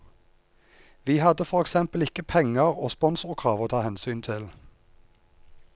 Vi hadde for eksempel ikke penger og sponsorkrav å ta hensyn til.